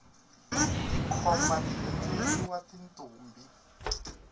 tikhomba ti endleriwa tintombi